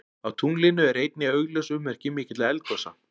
Á tunglinu eru einnig augljós ummerki mikilla eldgosa.